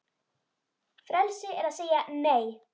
Frelsi er að segja Nei!